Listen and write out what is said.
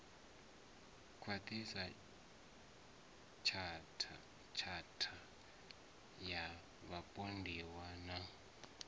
khwaṱhiswa tshatha ya vhapondiwa na